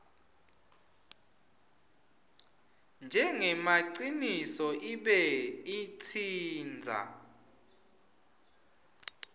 njengemaciniso ibe itsintsa